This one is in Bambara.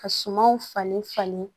Ka sumaw falen falen